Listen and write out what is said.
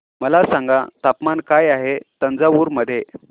मला सांगा तापमान काय आहे तंजावूर मध्ये